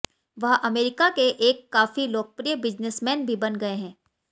वह अमेरिका के एक काफी लोकप्रिय बिजनेसमैन भी बन गए हैं